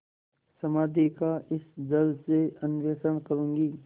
समाधि का इस जल से अन्वेषण करूँगी